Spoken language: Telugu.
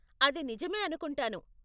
అది నిజమే అనుకుంటాను.